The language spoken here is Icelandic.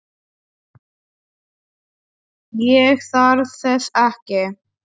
Ég þarf þess ekki.